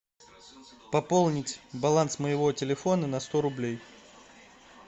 пополнить баланс моего телефона на сто рублей